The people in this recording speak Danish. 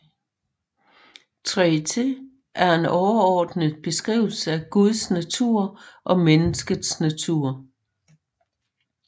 Traité er en overordnet beskrivelse af Guds natur og menneskets natur